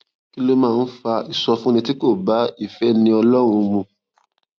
kí ló máa ń fa ìsọfúnni tí kò bá ìféni ọlórun mu